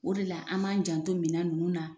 O de la an b'an janto minɛn ninnu na.